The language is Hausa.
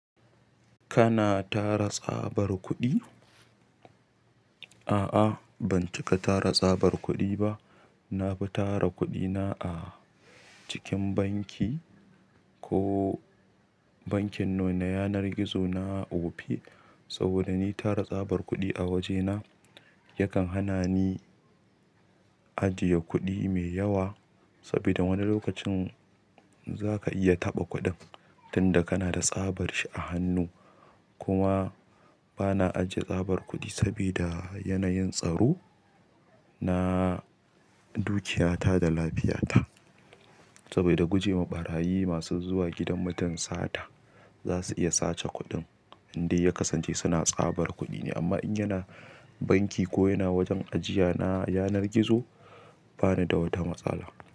Kana tara tsabar kuɗi? A'a, ban cika tara tsabar kuɗi ba. Na fi tara kuɗina a cikin banki ko bankin no na yanar gizo na Opay. Saboda ni tara tsabar kuɗi a wajena yakan hana ni ajiye kuɗi mai yawa sabida wani lokacin zaka iya taɓa kuɗin tunda kana da tsabar shi a hannu. Kuma bana ajiye tsabar kuɗi sabida yanayin tsaro na dukiyata da lafiyata. Saboda gujema ɓarayi masu zuwa gidan mutum sata, zasu iya sace kuɗin indai ya kasance suna tsabar kuɗi ne. Amma in yana banki ko yana wajen ajiya na yanar gizo bani da wata matsala.